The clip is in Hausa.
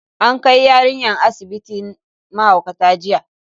An kai yarinyar asibitin mahaukata jiya.